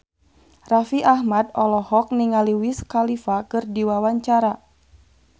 Raffi Ahmad olohok ningali Wiz Khalifa keur diwawancara